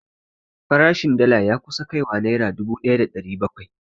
Farashin dala ya kusa kai wa naira dubu ɗaya da ɗari bakwai